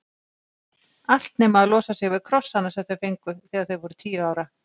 Allt nema að losa sig við krossana sem þau fengu þegar þau voru tíu ára.